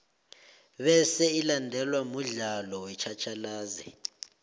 bese ilandelwe mudlalo wetjhatjhalazi